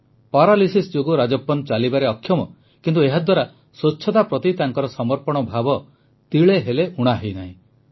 paralysis ଯୋଗୁଁ ରାଜପ୍ପନ ଚାଲିବାରେ ଅକ୍ଷମ କିନ୍ତୁ ଏହାଦ୍ୱାରା ସ୍ୱଚ୍ଛତା ପ୍ରତି ତାଙ୍କ ସମର୍ପଣ ଭାବ ତିଳେହେଲେ ଊଣା ହୋଇନାହିଁ